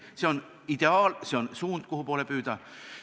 See on ideaal, see on suund, kuhu poole püüelda.